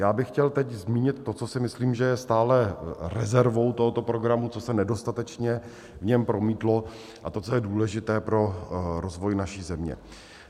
Já bych chtěl teď zmínit to, co si myslím, že je stále rezervou tohoto programu, co se nedostatečně v něm promítlo, a to, co je důležité pro rozvoj naší země.